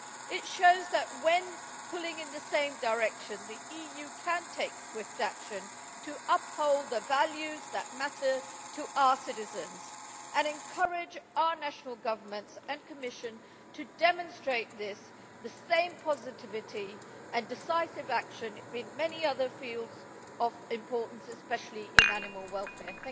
It shows that when we pull in the same direction the EU can take swift action to uphold the values that matter to our citizens and encourage our national governments and Commission to demonstrate this, the same positivity and decisive action, in many other fields of importance especially in animal welfare.